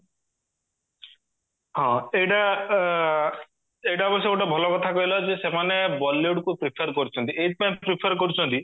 ହଁ ଏଇଟା ଏଇଟା ହଉଚି ଗୋଟେ ଭଲ କଥା କହିଲା ଯେ ସେମାନେ bollywoodକୁ prefer କରୁଚନ୍ତି ଏଇଥିପାଇଁ prefer କରୁଚନ୍ତି